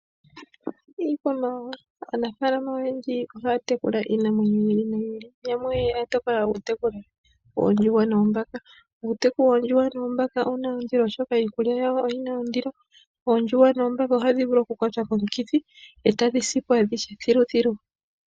Iikwamawawa aanafalama oyendji oya tekula iinamwenyo yi ili noyi ili yamwe oya tokola okutekula oondjuhwa noombaka. Uuteku woondjuhwa noombaka owuna ondilo oshoka iikulya yawo oyina ondilo. Oondjuhwa noombaka ohadhi vulu okukwatwa komikithi etadhi sipo adhihe thiluthilu.